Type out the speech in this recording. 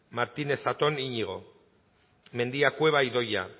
martínez zatón iñigo mendia cueva idoia